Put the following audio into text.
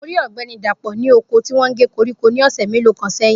Mo rí Ogbeni Dapo ní oko tí wọn gé koríko ní ọ̀sẹ̀ mélòó kan sẹ́yìn